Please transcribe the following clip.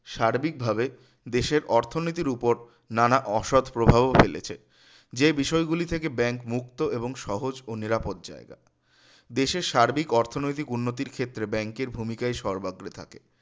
সার্বিকভাবে দেশের অর্থনীতির উপর নানা অসৎ প্রভাবও ফেলেছে যে বিষয়গুলি থেকে bank মুক্ত এবং সহজ ও নিরাপদ জায়গা দেশের সার্বিক অর্থনৈতিক উন্নতির ক্ষেত্রে bank এর ভূমিকায় সর্বাগ্রে থাকে